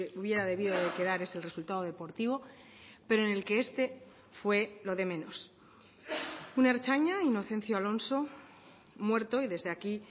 hubiera debido de quedar es el resultado deportivo pero en el que este fue lo de menos un ertzaina inocencio alonso muerto y desde aquí